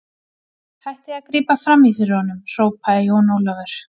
Hættið að grípa framí fyrir honum, hrópaði Jón Ólafur.